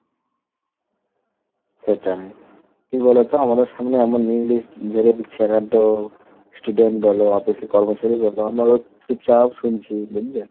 সেটাই কি বলতো আমাদের সামনে এমন English ঝেড়ে দিচ্ছে student বলো, office এর কর্মচারী বলো, আমরা তো চুপচাপ শুনছি, বুঝলে?